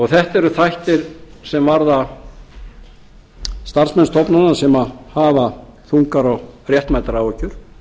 þetta eru þættir sem varða starfsmenn stofnana sem hafa þungar og réttmætar áhyggjur